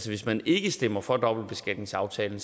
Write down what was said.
hvis man ikke stemmer for dobbeltbeskatningsaftalen